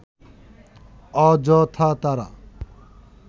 অযথা তারা